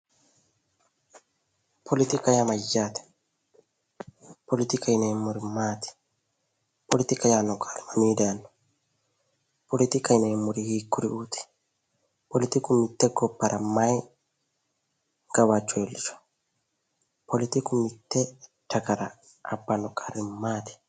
Poletikaho yaa Mayyaate? Poletikaho yineemori maati? poletikaho yaanno qaali mamiini dayino? poletikaho yineemori hiikuriuuti Poletiku mitte gobbara mayi gawajjo iilishawo? poletiku mitte dagara abbano qarri maati?